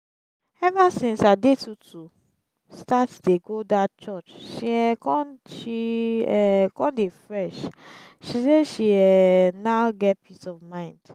ever since adetutu start dey go dat church she um come she um come dey fresh she say she um now get peace of mind